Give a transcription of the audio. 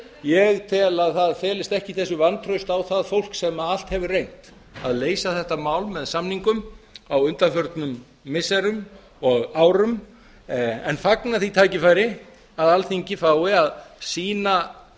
ég tel að það felist ekki í þessu vantraust á það fólk sem allt hefur reynt að leysa þetta mál með samningum á undanförnum missirum og árum en fagna því tækifæri að alþingi fái að sýna